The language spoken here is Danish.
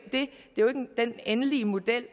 den endelige model